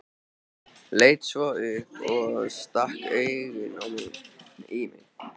Leit svo upp og stakk augunum í mig.